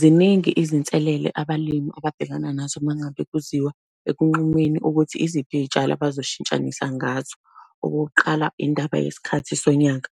Ziningi izinselele abalimi ababhekana nazo uma ngabe kuziwa ekunqunyweni ukuthi iziphi iy'tshalo abazoshintshanisa ngazo. Okuqala, indaba yesikhathi sonyaka,